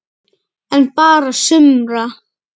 En bara sumra.